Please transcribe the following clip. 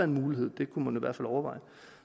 mulighed det kunne man fald overveje